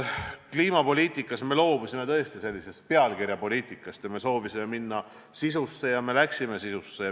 Kliimapoliitikas me loobusime tõesti pealkirjapoliitikast, soovisime minna sisusse ja me läksime sisusse.